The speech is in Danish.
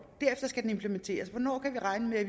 derefter skal den implementeres hvornår kan vi regne med at